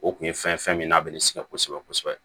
O kun ye fɛn fɛn min n'a bɛ ne sɛgɛn kosɛbɛ kosɛbɛ